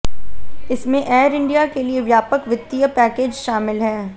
इसमें एयर इंडिया के लिए व्यापक वित्तीय पैकेज शामिल है